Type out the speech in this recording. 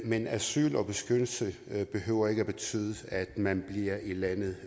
men asyl og beskyttelse behøver ikke at betyde at man bliver i landet